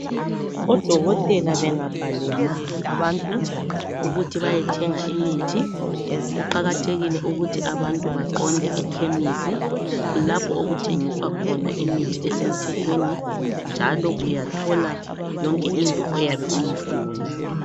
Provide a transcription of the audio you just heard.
Odokotela bengabhalela abantu ukuthi beyethenga imithi kuqakathekile ukuthi abantu baqonde ekhemisi kulapho okuthengiswa khona imithi esemthethweni njalo uyathola yonke into oyabe uyifuna.